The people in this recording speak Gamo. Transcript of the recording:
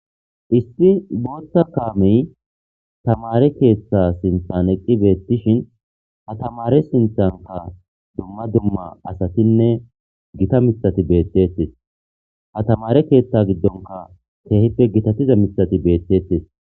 Isti bootta kaamey tamare keeththa sinthan eqqi beettishin ha tamare sinthanka dumma dumma asatinne gita misati beeththettes ha tamare keeththa giddonka keehippe gitatiza misati beeththettes.